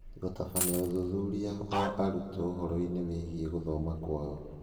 Gũtabania ũthuthuria wa arutwo ũhoro-inĩ wĩgiĩ gũthoma kwao.